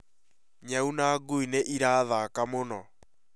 nyau na ngui nĩ ĩrathaka mũno